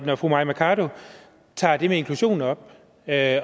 når fru mai mercado tager det med inklusionen op at